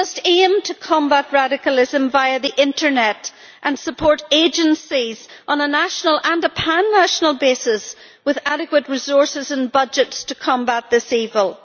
We must aim to combat radicalism via the internet and support agencies on a national and a pan national basis with adequate resources and budgets to combat this evil.